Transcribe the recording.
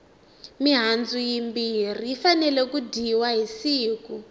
mihandzu yimbirhi yi fanele ku dyiwa hi siku